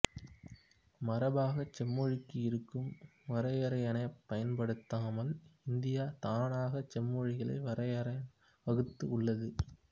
மரபாகச் செம்மொழிக்கு இருக்கும் வரையறையைப் பயன்படுத்தாமல் இந்தியா தானாகச் செம்மொழிக்கான வரையறையை வகுத்து உள்ளது